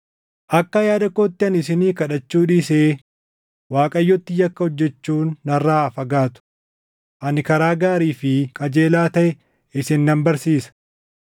Akka yaada kootti ani isinii kadhachuu dhiisee Waaqayyotti yakka hojjechuun narraa haa fagaatu. Ani karaa gaarii fi qajeelaa taʼe isin nan barsiisa.